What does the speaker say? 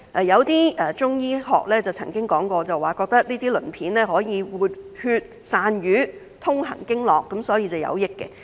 一些中醫學家曾經說過，這些鱗片可以活血散瘀、通行經絡，所以是有益的。